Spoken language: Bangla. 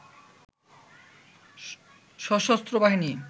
সশস্ত্র বাহিনী